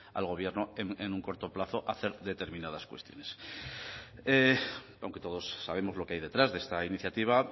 al gobierno en un corto plazo a hacer determinadas cuestiones aunque todos sabemos lo que hay detrás de esta iniciativa